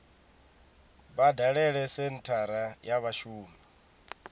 vha dalele senthara ya vhashumi